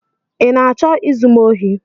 ị na-achọ izu m ohi?